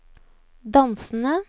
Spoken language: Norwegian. dansende